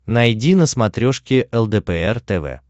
найди на смотрешке лдпр тв